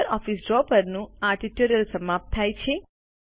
LibreOffice Draw પરનું આ tutorial સમાપ્ત થાય છે